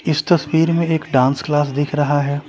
इस तस्वीर में एक डांस क्लास दिख रहा हैं।